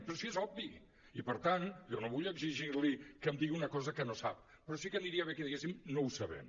però si és obvi i per tant jo no vull exigir li que em digui una cosa que no sap però sí que aniria bé que diguessin no ho sabem